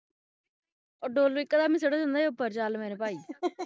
ਉਹ ਡੋਲੁ ਇਕ ਦਮ ਹੀ ਸੁਟ ਦੇਂਦਾ ਸੀ ਚਲ ਮੇਰੇ ਭਾਈ